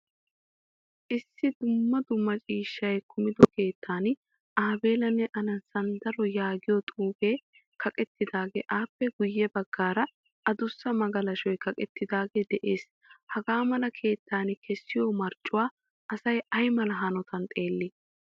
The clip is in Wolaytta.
Issi dumma dumma ciishshay kumido keettan abelanne aana sandro yaagiyaa xuufe kaqettoge appe guye baggaara addussa magalashoy kaqqettidage de'ees. Hagamala keettan kesiyo marccuwaa assay aymala hanottan xeeli?